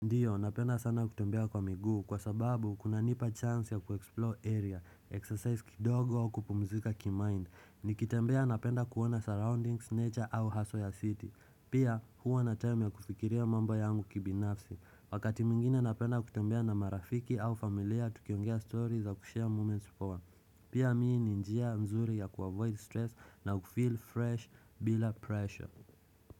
Ndiyo, napenda sana kutembea kwa miguu kwa sababu kuna nipa chance ya kuexplore area, exercise kidogo kupumzika ki mind, nikitembea napenda kuona surroundings, nature au haso ya city, pia huwa na time ya kufikiria mambo yangu kibinafsi, wakati mingine napenda kutembea na marafiki au familia tukiongea stories ya kushare moments for, pia mii ninjia mzuri ya kuavoid stress na kufeel fresh bila pressure.